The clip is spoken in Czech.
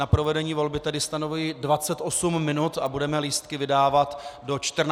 Na provedení volby tedy stanovuji 28 minut a budeme lístky vydávat do 14 hodin.